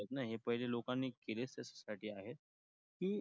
हे पहिले लोकांनी केले त्याचसाठी आहेत की,